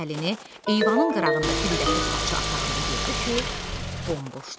Əlini eyvanın qırağındakı lüləkli parç aparanda gördü ki, bomboşdu.